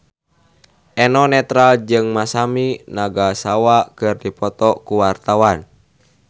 Eno Netral jeung Masami Nagasawa keur dipoto ku wartawan